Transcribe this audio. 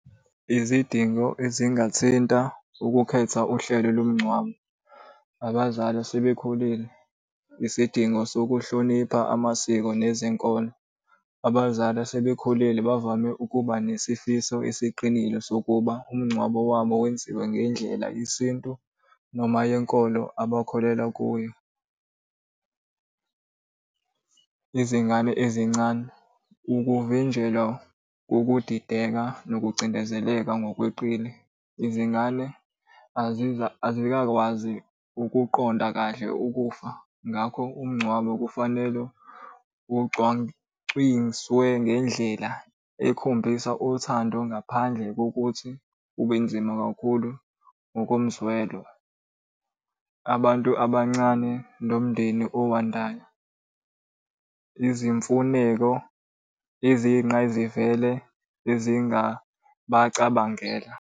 Izidingo ezingathinta ukukhetha uhlelo lomngcwabo. Abazali asebekhulile, isidingo sokuhlonipha amasiko nezinkolo. Abazali asebekhulile bavame ukuba nesifiso esiqinile sokuba umngcwabo wabo wenziwe ngendlela yesintu noma yenkolo abakholelwa kuyo. Izingane ezincane, ukuvinjelwa kokudideka nokucindezeleka ngokweqile. Izingane azikakwazi ukuqonda kahle ukufa, ngakho umngcwabo kufanele ngendlela ekhombisa uthando ngaphandle kokuthi ube nzima kakhulu ngokomzwelo. Abantu abancane nomndeni owandayo, izimfuneko eziyinqayizivele ezingabacabangela.